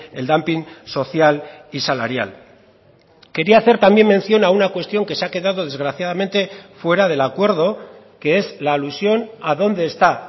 el dumping social y salarial quería hacer también mención a una cuestión que se ha quedado desgraciadamente fuera del acuerdo que es la alusión a dónde está